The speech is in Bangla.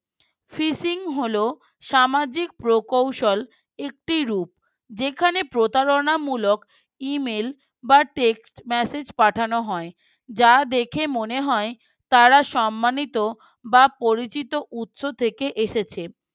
প্রকৌশল একটি রূপ, যেখানে প্রতারণামূলক email বা text message মেসেজ পাঠানো হয়, যা দেখে মনে হয় তারা সম্মানিত বা পরিচিত উৎস থেকে এসেছে